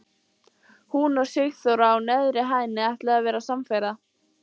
Hún og Sigþóra á neðri hæðinni ætluðu að vera samferða.